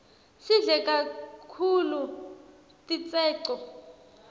sidle kaktulu titseco